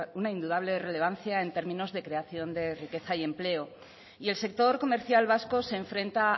una indudable relevancia en términos de creación de riqueza y empleo y el sector comercial vasco se enfrenta